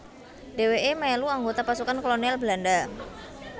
Dhèwèké melu anggota pasukan kolonial Belanda